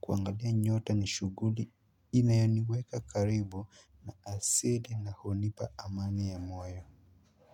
kuangalia nyota ni shughuli inayoniweka karibu na asili na hunipa amani ya moyo.